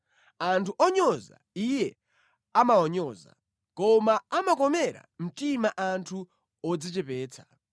Anthu onyoza, Iye amawanyoza, koma amakomera mtima anthu odzichepetsa.